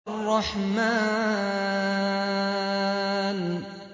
الرَّحْمَٰنُ